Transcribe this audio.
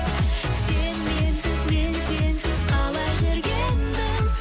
сен менсіз мен сенсіз қалай жүргенбіз